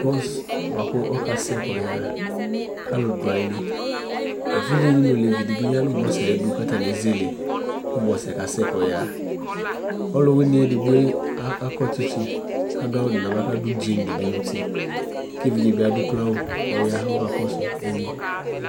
owʋ buakʋ ɔkasɛ kɔyaha kalʋ du ayili evidzedi nu olevidi yanu owue ayidu katani katani ezele owue kasɛ kɔyaha ɔlʋwini edigboe akɔ tsitsi kadu awu nava NA nuti ke evidze adu okloawu kɔya kʋ ɔkakɔsu inye